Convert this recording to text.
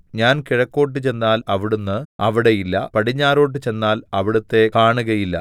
ഞാൻ കിഴക്കോട്ട് ചെന്നാൽ അവിടുന്ന് അവിടെ ഇല്ല പടിഞ്ഞാറോട്ട് ചെന്നാൽ അവിടുത്തെ കാണുകയില്ല